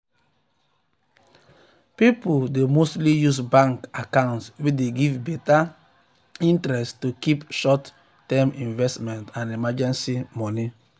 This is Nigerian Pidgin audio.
people dey mostly use bank bank account wey dey give better interest to keep short-term investment and emergency money.